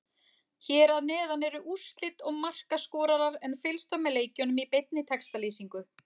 Hér að neðan eru úrslit og markaskorarar en fylgst var með leikjunum í beinni textalýsingu.